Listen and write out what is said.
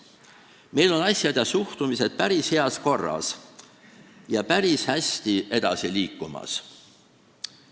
Meil on asjad ja suhtumised päris heas korras ja päris hästi edasi liikumas.